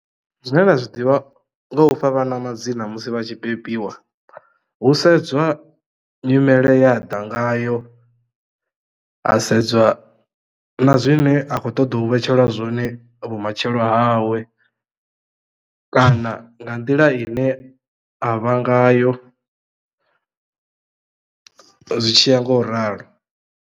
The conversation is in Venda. Zwine nda zwi ḓivha ngo ufha vhana madzina musi vha tshi bebiwa hu sedzwa nyimele ye aḓa ngayo ha sedzwa na zwine a khou ṱoḓou vhetshelwa zwone vhumatshelo hawe kana nga nḓila ine a vha ngayo zwitshiya ngo u ralo.